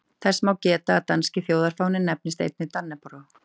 Þess má geta að danski þjóðfáninn nefnist einnig dannebrog.